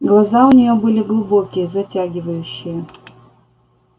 глаза у нее были глубокие затягивающие